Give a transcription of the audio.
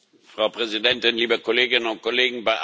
Frau Präsidentin, liebe Kolleginnen und Kollegen!